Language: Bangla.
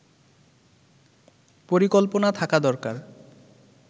পরিকল্পনা থাকা দরকার